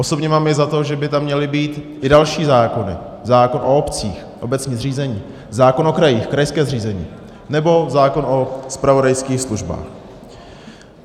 Osobně mám i za to, že by tam měly být i další zákony, zákon o obcích - obecní zřízení, zákon o krajích - krajské zřízení, nebo zákon o zpravodajských službách.